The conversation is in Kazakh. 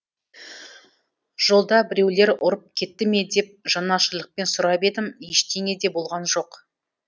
жолда біреулер ұрып кетті ме деп жанашырлықпен сұрап едім ештеңе де болған жоқ